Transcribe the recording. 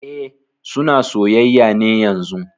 E, suna soyayya ne yanzun